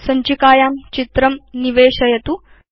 सञ्चिकायां चित्रं निवेशयतु